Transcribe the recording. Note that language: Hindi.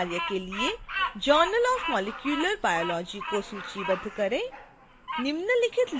नियतकार्य के लिए journal of molecular biology को सूचीबद्ध